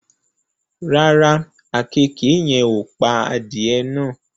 Rárá, àkekèé yen ò pa adìẹ náà